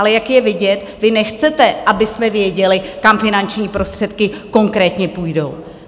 Ale jak je vidět, vy nechcete, abychom věděli, kam finanční prostředky konkrétně půjdou!